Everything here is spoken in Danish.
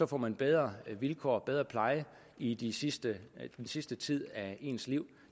får man bedre vilkår og bedre pleje i den sidste sidste tid af sit liv